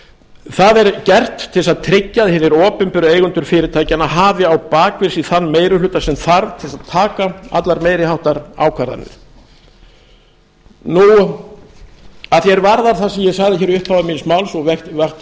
það er gert til að tryggja að hinir opinberu eigendur fyrirtækjanna hafi á bak við sig þann meiri hluta sem þarf til þess að taka allar meiriháttar ákvarðanir að því er varðar það sem ég sagði hér í upphafi míns máls og auki